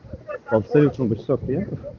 абсолютно